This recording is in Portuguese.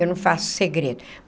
Eu não faço segredo.